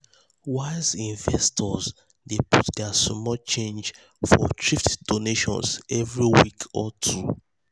wise investors dey put their small change for thrift donations every week or two.